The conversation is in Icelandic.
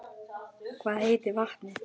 Hvað heitir vatnið?